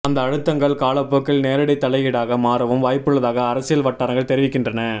அந்த அழுத்தங்கள் காலப்போக்கில் நேரடி தலையீடாக மாறவும் வாய்ப்புள்ளதாக அரசியல் வட்டாரங்கள் தெரிவிக்கின்றன